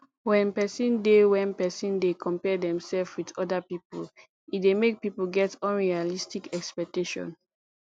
when person dey when person dey compare themself with oda pipo e dey make pipo get unrealistic expectation